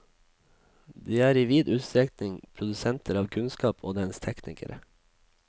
De er i vid utstrekning produsenter av kunnskap og dens teknikere.